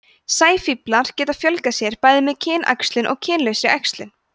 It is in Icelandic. sæfíflar geta fjölgað sér bæði með kynæxlun og kynlausri æxlun